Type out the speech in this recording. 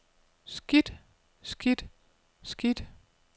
skidt skidt skidt